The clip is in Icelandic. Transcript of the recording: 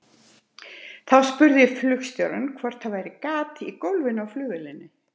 Þá spurði ég flugstjórann hvort það væri gat í gólfinu á vélinni.